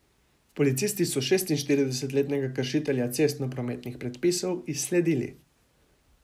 Policisti so šestintrideset letnega kršitelja cestno prometnih predpisov izsledili.